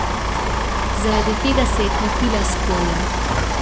Zaradi tega se je krepila skorja.